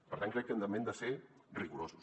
per tant crec que també hem de ser rigorosos